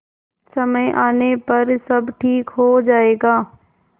समय आने पर सब ठीक हो जाएगा